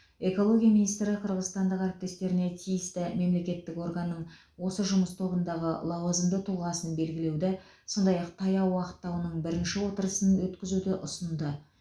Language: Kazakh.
экология министрі қырғызстандық әріптестеріне тиісті мемлекеттік органның осы жұмыс тобындағы лауазымды тұлғасын белгілеуді сондай ақ таяу уақытта оның бірінші отырысын өткізуді ұсынды